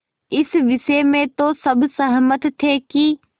इस विषय में तो सब सहमत थे कि